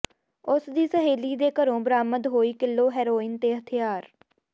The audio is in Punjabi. ਉਸ ਦੀ ਸਹੇਲੀ ਦੇ ਘਰੋਂ ਬਰਾਮਦ ਹੋਈ ਕਿੱਲੋ ਹੈਰੋਇਨ ਤੇ ਹਥਿਆਰ